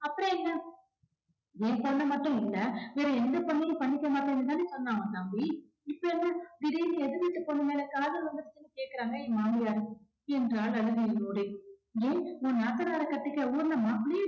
ஏன் பொண்ண மட்டும் இல்ல வேற எந்த பொண்ணையும் பண்ணிக்க மாட்டேன்னு தான சொன்னா உன் தம்பி இப்ப என்ன திடீர்னு எதிர்வீட்டு பொண்ணு மேல காதல் வந்துருச்சுன்னு கேக்குறாங்க எங்க மாமியார். என்றார் அழுகையோடு ஏன் உன் நாத்தனாரக் கட்டிக்க ஊர்ல மாப்பிள்ளையே